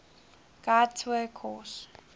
tour guide course